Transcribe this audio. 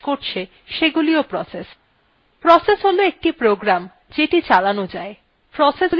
process হল একটি program যেটি চালানো যায়